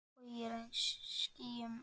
Bogi regns í skýjum er.